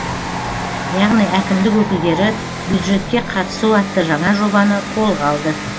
яғни әкімдік өкілдері бюджетке қатысу атты жаңа жобаны қолға алды